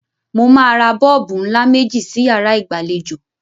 Mo máa ra bọ́ọ̀bù ńlá méjì sí yàrá ìgbàlejò.